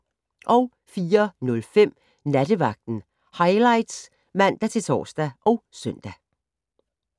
04:05: Nattevagten Highlights (man-tor og søn)